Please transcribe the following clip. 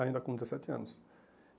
ainda com dezessete anos.